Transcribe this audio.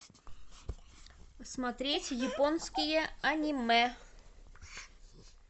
смотреть японские аниме